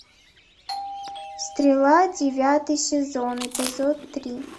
стрела девятый сезон эпизод три